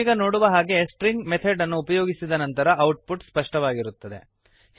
ನಾವೀಗ ನೋಡುವ ಹಾಗೆ ಸ್ಟ್ರಿಂಗ್ ಮೆಥಡ್ ಅನ್ನು ಉಪಯೋಗಿಸಿದ ನಂತರ ಔಟ್ ಪುಟ್ ಸ್ಪಷ್ಟವಾಗಿರುತ್ತದೆ